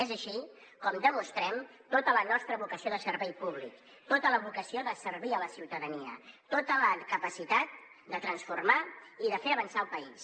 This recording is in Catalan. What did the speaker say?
és així com demostrem tota la nostra vocació de servei públic tota la vocació de servir la ciutadania tota la capacitat de transformar i de fer avançar el país